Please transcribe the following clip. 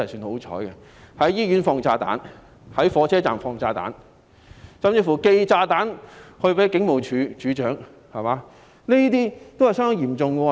有人在醫院放炸彈，在火車站放炸彈，甚至寄炸彈給警務處處長，這些均是相當嚴重的罪行。